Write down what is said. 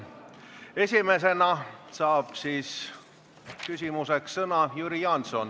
Esimesena saab küsimuseks sõna Jüri Jaanson.